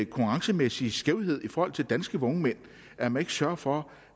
konkurrencemæssig skævhed i forhold til danske vognmænd at man ikke sørger for